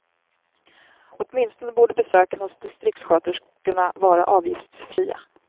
Åtminstone borde besöken hos distriktssköterskorna vara avgiftsfria.